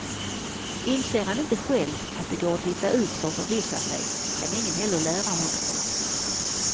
Inser han inte själv att det går att titta ut för att förvissa sig, kan ingen heller lära honom det.